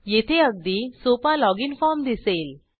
येथे अगदी सोपा लॉगिन फॉर्म दिसेल